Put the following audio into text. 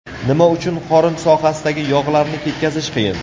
Nima uchun qorin sohasidagi yog‘larni ketkazish qiyin?.